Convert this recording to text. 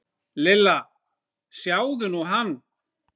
Lilla, sjáðu nú hann.